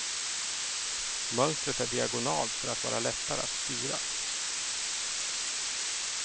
Mönstret är diagonalt för att vara lättare att styra.